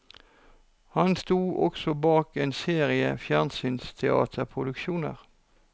Han sto også bak en serie fjernsynsteaterproduksjoner.